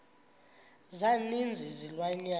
za ninzi izilwanyana